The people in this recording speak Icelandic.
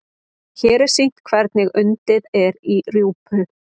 hér er sýnt hvernig undið er í rjúpu